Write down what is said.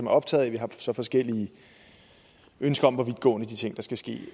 er optaget af vi har så forskellige ønsker om hvor vidtgående de ting der skal ske